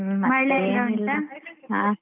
ಮಳೆ ಎಲ್ಲ ಉಂಟಾ?